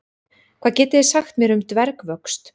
Hvað getið þið sagt mér um dvergvöxt?